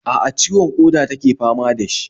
A'a, ciwon ƙoda take fama da shi